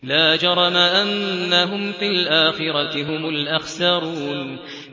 لَا جَرَمَ أَنَّهُمْ فِي الْآخِرَةِ هُمُ الْأَخْسَرُونَ